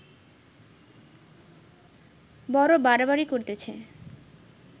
বড় বাড়াবাড়ি করিতেছে